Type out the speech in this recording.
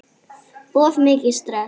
Of mikið stress?